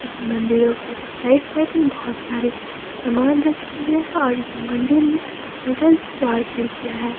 इस मंदिरों के साइड साइड में बहुत सारे सामान रखे गए और मंदिर में टोटल चार खिड़कियां है।